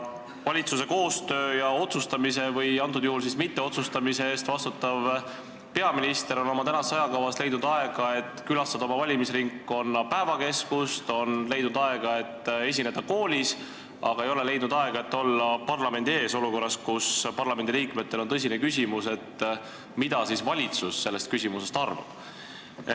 Valitsuse koostöö ja otsustamise või antud juhul siis mitteotsustamise eest vastutav peaminister on oma tänases ajakavas leidnud aega, et külastada oma valimisringkonna päevakeskust, on leidnud aega, et esineda koolis, aga ei ole leidnud aega, et olla parlamendi ees olukorras, kus parlamendiliikmetel on tõsine küsimus, mida valitsus sellest asjast arvab.